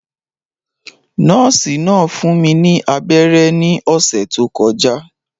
Nọ́ọ̀sì náà fún mi ní abẹ́rẹ́ ní ọ̀sẹ̀ tó kọjá